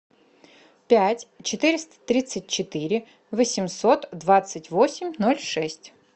пять четыреста тридцать четыре восемьсот двадцать восемь ноль шесть